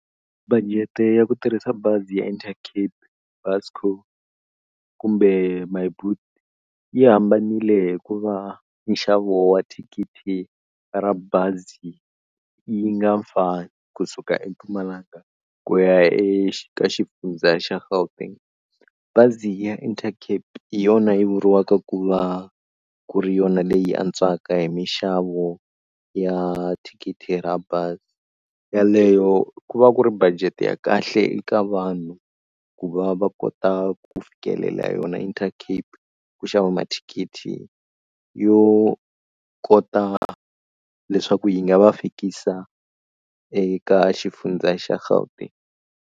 Budget ya ku tirhisa bazi ya Intercape, Buscor kumbe Myboet yi hambanile hikuva nxavo wa thikithi ra bazi yi nga fani kusuka eMpumalanga ku ya eka Xifundza xa Gauteng. Bazi ya Intercape hi yona yi vuriwaka ku va ku ri yona leyi antswaka hi mixavo ya thikithi ra bazi yaleyo ku va ku ri budget ya kahle eka vanhu ku va va kota ku fikelela yona Intercape ku xava mathikithi yo kota leswaku yi nga va fikisa eka Xifundza xa Gauteng.